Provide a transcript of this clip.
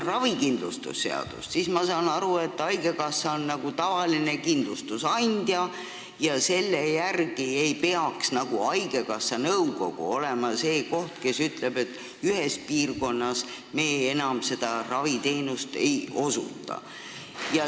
Ravikindlustuse seadust lugedes olen ma aru saanud, et haigekassa on nagu tavaline kindlustusandja ja seega ei peaks haigekassa nõukogu olema see, kes ütleb, et ühes piirkonnas me enam seda või teist raviteenust ei osuta.